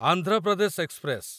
Andhra Pradesh express